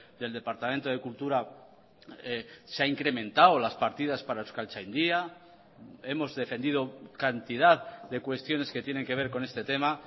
del departamento de cultura se ha incrementado las partidas para euskaltzaindia hemos defendido cantidad de cuestiones que tienen que ver con este tema